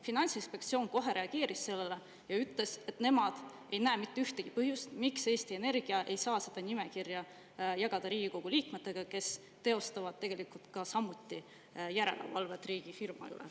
Finantsinspektsioon kohe reageeris sellele ja ütles, et nemad ei näe mitte ühtegi põhjust, miks Eesti Energia ei saa seda nimekirja jagada Riigikogu liikmetega, kes teevad samuti järelevalvet riigifirma üle.